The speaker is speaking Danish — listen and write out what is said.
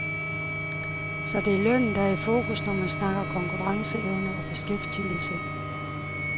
Så det er lønnen, der er i fokus, når man snakker konkurrenceevne og beskæftigelse.